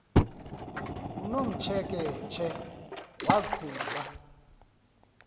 unomtsheke tshe waqhuba